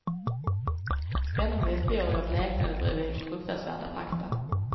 Spännande historier bleknade bredvid fruktansvärda fakta.